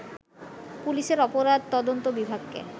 পুলিশের অপরাধ তদন্ত বিভাগকে